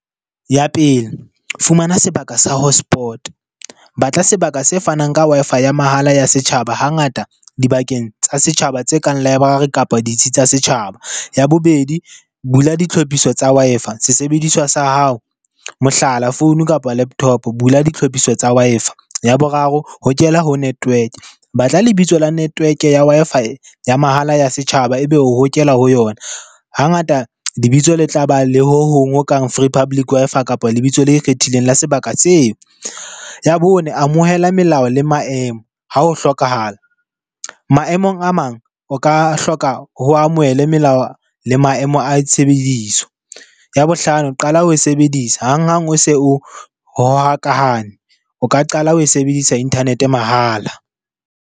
Ya pele, fumana sebaka sa hotspot-e. Batla sebaka se fanang ka Wi-Fi ya mahala ya setjhaba hangata dibakeng tsa setjhaba tse kang library kapa ditsi tsa setjhaba. Ya bobedi, bula ditlhophiso tsa Wi-Fi sesebediswa sa hao. Mohlala, founu kapa laptop-o, bula ditlhophiso tsa Wi-Fi. Ya boraro hokela ho network-e. Batla lebitso la network-e ya Wi-Fi ya mahala ya setjhaba ebe o hokela ho yona. Hangata lebitso le tla ba le ho hong ho kang free public Wi-Fi kapa lebitso le ikgethileng la sebaka seo. Ya bone, amohela melao le maemo ha ho hlokahala. Maemong a mang o ka hloka ho amohele melao le maemo a tshebediso. Ya bohlano, qala ho e sebedisa hang-hang o se o . O ka qala ho e sebedisa internet-e mahala.